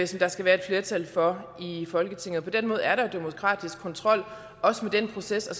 som der skal være et flertal for i folketinget på den måde er der demokratiske kontrol også med den proces og